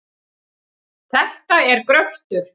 Þetta er gröftur.